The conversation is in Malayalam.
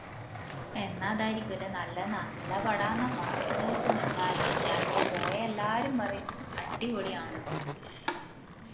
എന്നാ അതാരിക്കുഅല്ലെ നല്ലേ നല്ല പടാന്ന പറേന്ന കേക്കുന്നേ എല്ലാരും ഞാനിപ്പോ പോയെ എല്ലാരും പറേന്ന അടിപൊളിയാന്ന്